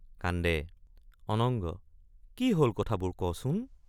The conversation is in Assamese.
কান্দে অনঙ্গ—কি হল কথাবোৰ কচোন?